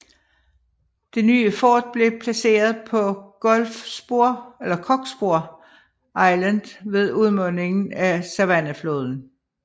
Det nye fort blev placeret på Cockspur Island ved udmundingen af Savannahfloden